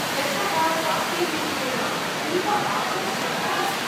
यशः राकीरूपेण अतीव आकर्षकः अस्ति।